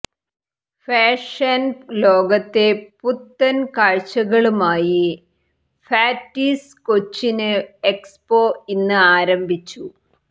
fashion ലോകത്തെ പുത്തന് കാഴ്ചകളുമായി ഫാറ്റിസ് കൊച്ചിന് എക്സ്പോ ഇന്ന് ആരംഭിച്ചു